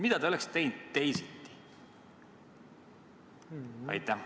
Mida te oleksite teinud teisiti?